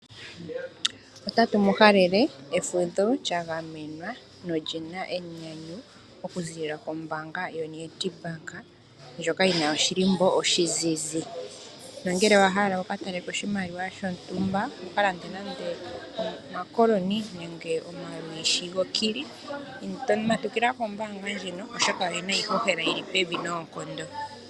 Otatu mu halele efudho lya gamenwa noli na enyanyu okuziilila kombaanga yoNedbank ndjoka yi na oshihako oshizizi. Nongele owa hala wu ka taleko oshimaliwa shontumba wu ka lande nando omakoloni nenge omalwishi gOkili, matukila kombaanga ndjino, oshoka oye na iihohela yi li pevi noonkondo.